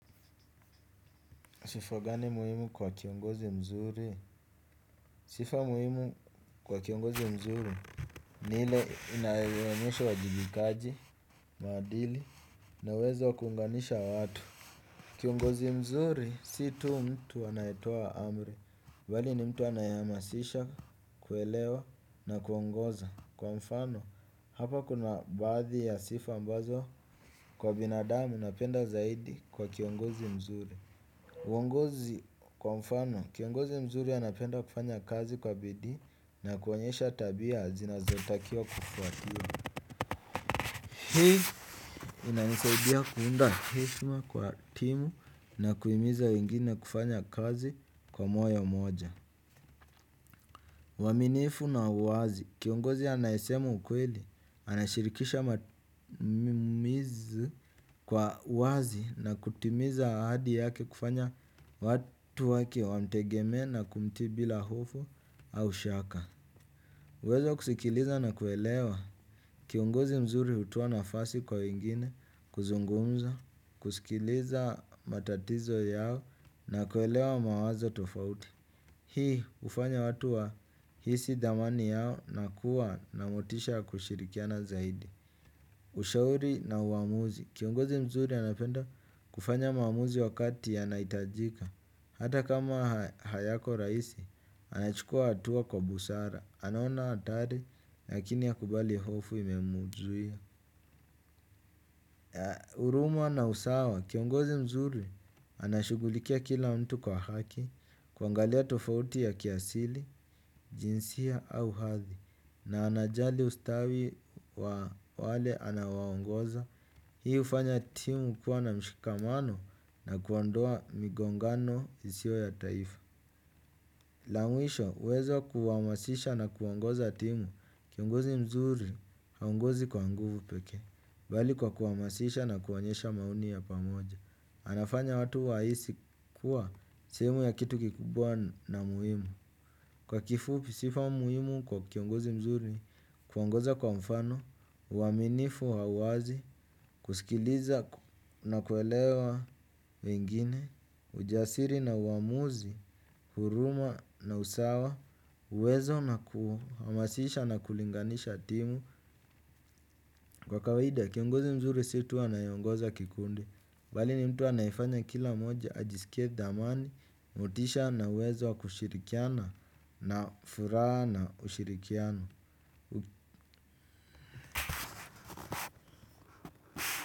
Sifa gani muhimu kwa kiongozi mzuri? Sifa muhimu kwa kiongozi mzuri ni ile inayeonyesha uwajibikaji, maadili, na uwezo wa kuunganisha watu. Kiongozi mzuri, si tu mtu anayetoa amri. Mbali ni mtu anayeamasisha, kuelewa na kuongoza. Kwa mfano, hapa kuna baadhi ya sifa ambazo kwa binadamu napenda zaidi kwa kiongozi mzuri. Uongozi kwa mfano, kiongozi mzuri anapenda kufanya kazi kwa bidii na kuonyesha tabia zinazotakia kufuatio. Hii inanisaidia kuunda heshma kwa timu na kuimiza wengine kufanya kazi kwa moyo moja uaminifu na uwazi, kiongozi anayesema ukweli, anashirikisha matumizi kwa uwazi na kutimiza ahadi yake kufanya watu wake wamtegemee na kumtii bila hofu au shaka kwa ivo kusikiliza na kuelewa, kiongozi mzuri hutoa nafasi kwa wengine, kuzungumza, kusikiliza matatizo yao na kuelewa mawazo tofauti. Hii ufanya watu wahisi thamani yao na kuwa na motisha wa kushirikiana zaidi. Ushauri na uamuzi kiongozi mzuri anapenda kufanya maamuzi wakati yanaitajika. Hata kama hayako raisi, anachukua hatua kwa busara. Anaona atari, lakini hakubali hofu imemuzuia. Uruma na usawa kiongozi mzuri anashugulikia kila mtu kwa haki. Kuangalia tofauti ya kiasili, jinsia au hathi na anajali ustawi wa wale anaowaongoza. Hii ufanya timu kuwa na mshikamano na kuondoa migongano isio ya taifa. La mwisho, uwezo kuwamasisha na kuongoza timu kiongozi mzuri, haongozi kwa nguvu pekee bali kwa kuhamasisha na kuonyesha maoni ya pamoja. Anafanya watu waisi kuwa sehemu ya kitu kikubwa na muhimu. Kwa kifupi sifa muhimu kwa kiongozi mzuri kuongoza kwa mfano, uaminifu wa uwazi, kusikiliza na kuelewa wengine ujasiri na uamuzi, huruma na usawa uwezo na kuhamasisha na kulinganisha timu. Kwa kawaida, kiongozi mzuri si tu anayeongoza kikundi bali ni mtu anayefanya kila mmoja ajisikie thamani, motisha na uwezo wa kushirikiana na furaha na ushirikiano.